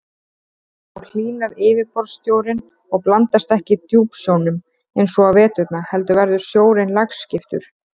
Þá hlýnar yfirborðssjórinn og blandast ekki djúpsjónum eins og á veturna heldur verður sjórinn lagskiptur.